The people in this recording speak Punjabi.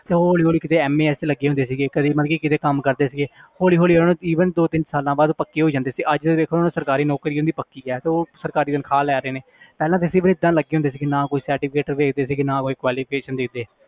ਤੇ ਹੌਲੀ ਹੌਲੀ ਕਿਤੇ 'ਚ ਲੱਗੇ ਹੁੰਦੇ ਸੀਗੇ ਕਦੇ ਮਤਲਬ ਕਿ ਕਿਤੇ ਕੰਮ ਕਰਦੇ ਸੀਗੇੇ ਹੌਲੀ ਹੌਲੀ ਉਹਨਾਂ ਨੂੰ even ਦੋ ਤਿੰਨ ਸਾਲਾਂ ਬਾਅਦ ਪੱਕੇ ਹੋ ਜਾਂਦੇ ਸੀ ਅੱਜ ਤੇ ਦੇਖੋ ਹੁਣ ਸਰਕਾਰੀ ਨੌਕਰੀ ਕਿੰਨੀ ਪੱਕੀ ਹੈ ਤੇ ਉਹ ਸਰਕਾਰੀ ਤਨਖ਼ਾਹ ਲੈ ਰਹੇ ਨੇ ਪਹਿਲਾਂ ਤਾਂ ਸੀ ਵੀ ਏਦਾਂ ਲੱਗੇ ਹੁੰਦੇ ਸੀ ਕਿ ਨਾ ਕੋਈ certificate ਦੇਖਦੇ ਸੀ ਨਾ ਕੋਈ qualification ਦੇਖਦੇ